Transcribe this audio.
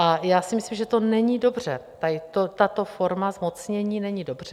A já si myslím, že to není dobře, tato forma zmocnění není dobře.